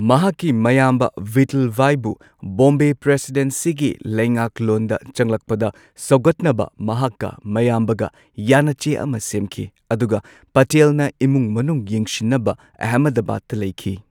ꯃꯍꯥꯛꯀꯤ ꯃꯌꯥꯝꯕ ꯚꯤꯊꯜꯚꯥꯏꯕꯨ ꯕꯣꯝꯕꯦ ꯄ꯭ꯔꯁꯤꯗꯦꯟꯁꯤꯒꯤ ꯂꯩꯉꯥꯛꯂꯣꯟꯗ ꯆꯪꯂꯛꯄꯗ ꯁꯧꯒꯠꯅꯕ ꯃꯍꯥꯛꯀ ꯃꯌꯥꯝꯕꯒ ꯌꯥꯅꯆꯦ ꯑꯃ ꯁꯦꯝꯈꯤ꯫ ꯑꯗꯨꯒ ꯄꯇꯦꯜꯅ ꯏꯃꯨꯡ ꯃꯅꯨꯡ ꯌꯦꯡꯁꯤꯟꯅꯕ ꯑꯦꯍꯃꯗꯕꯥꯗꯇ ꯂꯩꯈꯤ꯫